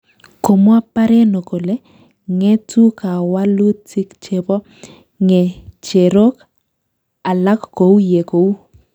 Komwa Pareno kole, ng'etu kawalutik chebo ng'echerok alak kou ye kou